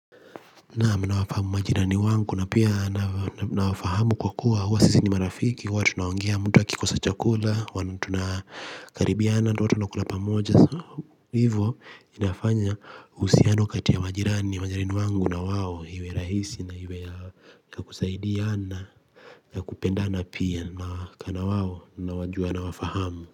Naam, nawafahamu majirani wangu na pia nawafahamu kwa kuwa huwa sisi ni marafiki, huwa tunaongea, mtu akikosa chakula tunakaribiana na huwa tunakula pamoja. Hivyo inafanya uhusiano kati ya majirani, majirani wangu na wao uwe rahisi na uwe wa kusaidiana na kupendana. Pia nakaa nao, nawajua, nawafahamu.